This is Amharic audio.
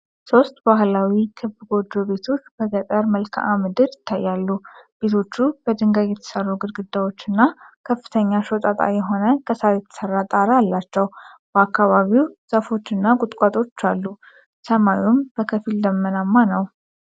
ሶስት ባህላዊ ክብ ጎጆ ቤቶች በገጠር መልክዓ ምድር ይታያሉ። ቤቶቹ በድንጋይ የተሠሩ ግድግዳዎች እና ከፍተኛ ሾጣጣ የሆነ ከሳር የተሠራ ጣሪያ አላቸው። በአካባቢው ዛፎች እና ቁጥቋጦዎች አሉ፣ ሰማዩም በከፊል ደመናማ ነው።